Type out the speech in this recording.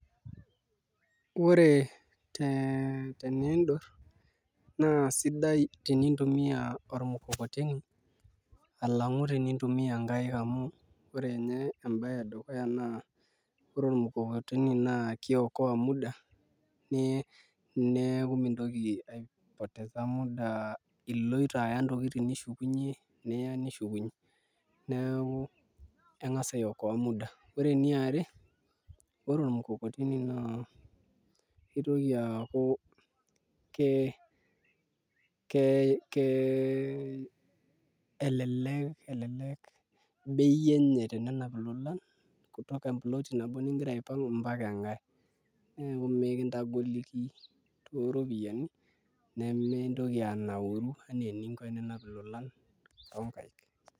Ore teniindurr naa sidai tenintumia orkukokoteni alang'u tenintumiaa nkaik amu ore ninye embaye edukuya naa ore ormukokoteni naa kiokoa muda nemintoki aipotesa muda iloito aya ntokitin nishukunyie niya nishukunyie neeku eng'as aiokoa muda, ore eniare ore ormukokoteni naa kitoki aaku kelelek bei enye tenenap ilolan kutoka emploti nabo ningira aipang' mpaka enkae neeku mekintagoliki tooropiyiani nemintoki anauru eninap ilolan tonkaaik.